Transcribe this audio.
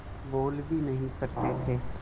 बोल भी नहीं सकते थे